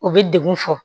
U bɛ degun fɔ